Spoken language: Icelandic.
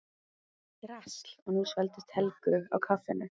Drasl! og nú svelgdist Helgu á kaffinu.